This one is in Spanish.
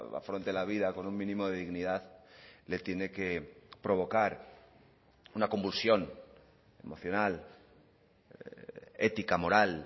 afronte la vida con un mínimo de dignidad le tiene que provocar una convulsión emocional ética moral